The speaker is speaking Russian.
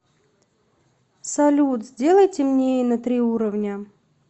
салют сделай темнее на три уровня